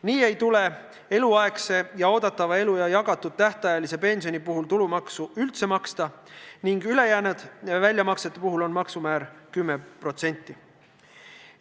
Nii ei tule eluaegse ja oodatava elueaga jagatud tähtajalise pensioni puhul tulumaksu üldse maksta ning ülejäänud väljamaksete puhul on maksumäär 10%.